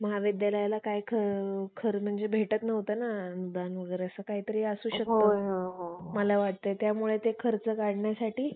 तर आम्ही ते ते देशमुख सरांजवळच जात असतो. पण ते sir अतिशय आम्हाला त्या परिस्थितीतून निवारण करण्यासाठी सांगत असतात.